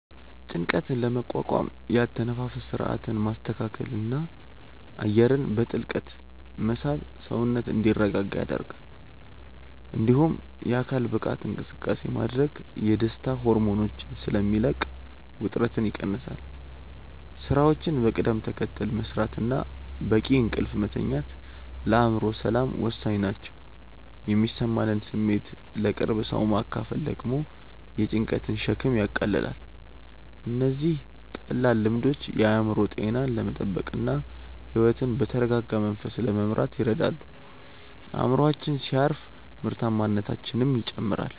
ጭንቀትን ለመቋቋም የአተነፋፈስ ሥርዓትን ማስተካከልና አየርን በጥልቀት መሳብ ሰውነት እንዲረጋጋ ይረዳል። እንዲሁም የአካል ብቃት እንቅስቃሴ ማድረግ የደስታ ሆርሞኖችን ስለሚለቅ ውጥረትን ይቀንሳል። ሥራዎችን በቅደም ተከተል መሥራትና በቂ እንቅልፍ መተኛት ለአእምሮ ሰላም ወሳኝ ናቸው። የሚሰማንን ስሜት ለቅርብ ሰው ማካፈል ደግሞ የጭንቀትን ሸክም ያቃልላል። እነዚህ ቀላል ልምዶች የአእምሮ ጤናን ለመጠበቅና ሕይወትን በተረጋጋ መንፈስ ለመምራት ይረዳሉ። አእምሮአችን ሲያርፍ ምርታማነታችንም ይጨምራል።